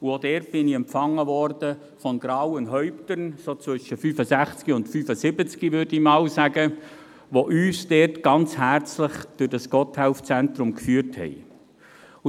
Auch dort wurde ich empfangen von «grauen Häuptern», so zwischen 65 und 75 Jahren, würde ich mal sagen, die uns ganz herzlich durch dieses Gotthelf-Zentrum geführt haben.